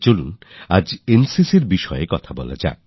চলুন আজ NCCর বিষয়ে কথা হোক